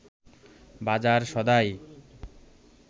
বাজার সদাই